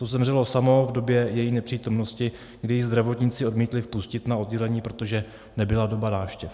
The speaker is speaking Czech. To zemřelo samo v době její nepřítomnosti, kdy ji zdravotníci odmítli vpustit na oddělení, protože nebyla doba návštěv.